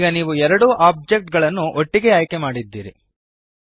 ಈಗ ನೀವು ಎರಡೂ ಓಬ್ಜೆಕ್ಟ್ ಗಳನ್ನು ಒಟ್ಟಿಗೆ ಆಯ್ಕೆಮಾಡಿದ್ದೀರಿ